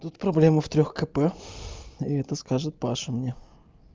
тут проблема в трёх кп и это скажет паша мне